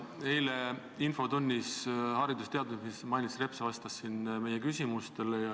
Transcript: Eile infotunnis vastas haridus- ja teadusminister Mailis Reps meie küsimustele.